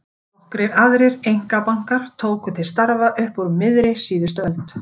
Nokkrir aðrir einkabankar tóku til starfa upp úr miðri síðustu öld.